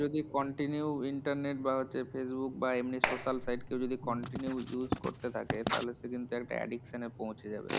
যদি continue internet বা হচ্ছে facebook বা এমনি social site যদি কেউ continue use করতে থাকে, তাহলে সে কিন্তু একটা addiction এ পৌঁছে যাবে।